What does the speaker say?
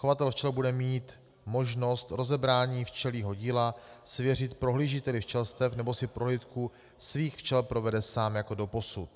Chovatel včel bude mít možnost rozebrání včelího díla svěřit prohlížiteli včelstev nebo si prohlídku svých včel provede sám jako doposud.